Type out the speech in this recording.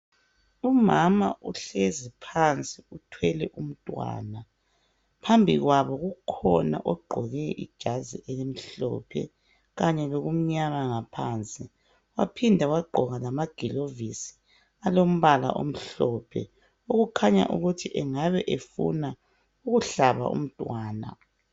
Umama uhlezi phansi uthwele umntwana phambi kwabo kukhona ogqoke ijazi elimhlophe kanye lokumnyama ngaphansi waphinda wagqoka lamagilovisi alombala omhlophe okukhanya ukuthi engabe efuna ukuhlaba umntwana.